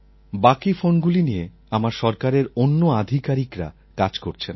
বাকি ফোনগুলি নিয়ে আমার সরকারের অন্য আধিকারিকরা কাজ করছেন